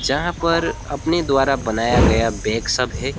जहां पर अपने द्वारा बनाया गया बैग सब है।